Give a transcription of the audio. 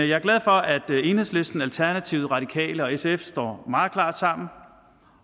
jeg er glad for at enhedslisten alternativet radikale venstre og sf står meget klart sammen